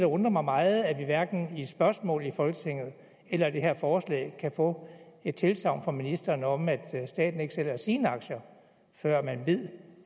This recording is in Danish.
undrer mig meget er at vi hverken i spørgsmål i folketinget eller det her forslag kan få et tilsagn fra ministeren om at staten ikke sælger sine aktier før man ved